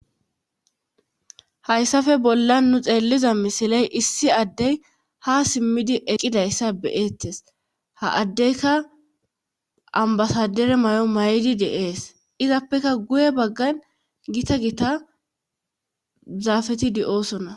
hayssafe bolla nu xeelliza misiley issi addey ha simmidi eqqidayssa beyettes ha addeyka ambasadere may7o may7di deees izappeka guye baggan gita gita zaafeti di7oosona